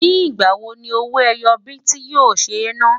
ní igbà wò ní owó ẹyọ biti yó ṣé nà?